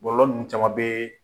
Bɔlɔlɔ ninnu caman be